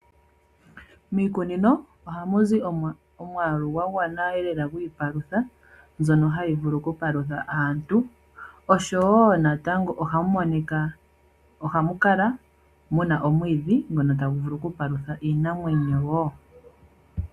Miikunino ohamu zi omwaalu gwa gwana lela gwiipalutha mbyono hayi vulu okupalutha aantu, oshowo natango ohamu monika mu na omwiidhi ngono tagu vulu okupalutha iinamwenyo wo.